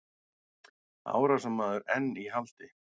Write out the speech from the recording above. Árásarmaður enn í haldi